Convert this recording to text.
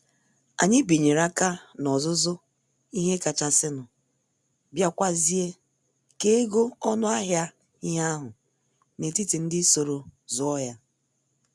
Anyị binyere aka n' ọzụzụ ihe kachasinu, biakwazie kee ego ọnụ ahịa ihe ahụ n'etiti ndị soro zụọ ya